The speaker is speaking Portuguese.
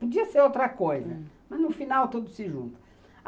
Podia ser outra coisa, hum, mas no final tudo se junta.